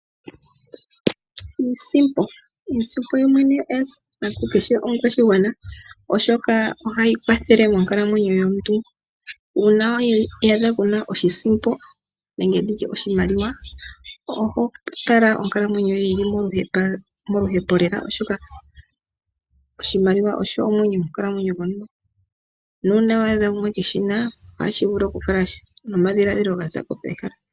Iisimpo yoyene oya simana kukehe omukwashigwana, oshoka ohayi kwathele monkalamwenyo yomuntu. Uuna wi iyadha waa na iisimpo, nena oho kala wu li moluhepo lela, oshoka oshimaliwa osho omwenyo monkalamwenyo yomuntu, na uuna kuushi na nena ohashi vulu nokukutha omadhiladhilo gomuntu pehala.